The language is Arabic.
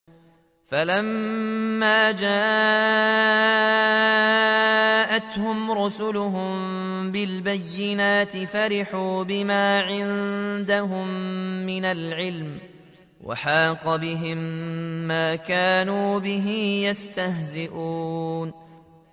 فَلَمَّا جَاءَتْهُمْ رُسُلُهُم بِالْبَيِّنَاتِ فَرِحُوا بِمَا عِندَهُم مِّنَ الْعِلْمِ وَحَاقَ بِهِم مَّا كَانُوا بِهِ يَسْتَهْزِئُونَ